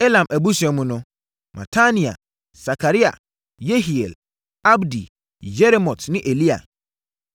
Elam abusua mu no: Matania, Sakaria, Yehiel, Abdi, Yeremot ne Elia.